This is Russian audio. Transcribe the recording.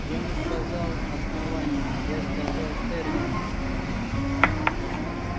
я не сказал основание я сказал терминус